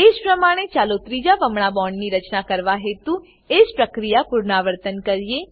એજ પ્રમાણે ચાલો ત્રીજા બમણા બોન્ડની રચના કરવા હેતુ એજ પ્રક્રિયાનું પુનરાવર્તન કરીએ